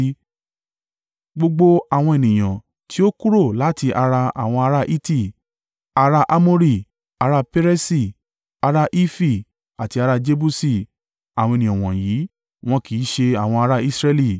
Gbogbo àwọn ènìyàn tí ó kúrò láti ara àwọn ará Hiti, ará Amori, ará Peresi, ará Hifi àti ará Jebusi àwọn ènìyàn wọ̀nyí wọn kì í ṣe àwọn ará Israẹli,